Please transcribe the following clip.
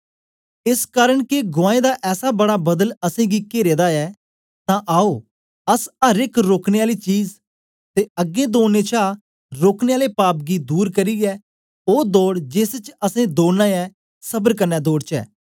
एस कारन के गुआऐं दा ऐसा बड़ा बदल असेंगी केरे दा ऐ तां आओ अस अर एक रोकने आली चीज ते अगें दौडने छा रोकने आले पाप गी दूर करियै ओ दौड़ जेस च असैं दौड़ना ऐ सबर कन्ने दौड़चै